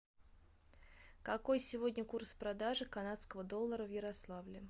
какой сегодня курс продажи канадского доллара в ярославле